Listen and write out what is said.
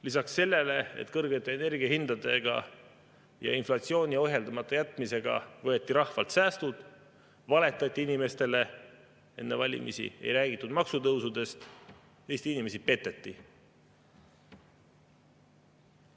Lisaks sellele, et kõrgete energiahindadega ja inflatsiooni ohjeldamata jätmisega võeti rahvalt säästud, valetati inimestele enne valimisi, ei räägitud maksutõusudest, Eesti inimesi peteti.